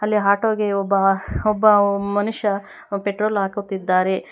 ಅಲ್ಲಿ ಆಟೋ ಗೆ ಒಬ್ಬ ಒಬ್ಬ ಮನುಷ್ಯ ಪೆಟ್ರೋಲ್ ಹಾಕುತ್ತಿದ್ದಾರೆ.